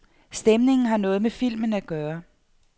Stemningen har noget med filmen at gøre.